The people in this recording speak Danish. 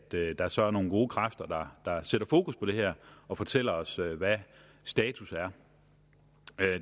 der så er nogle gode kræfter der sætter fokus på det her og fortæller os hvad status er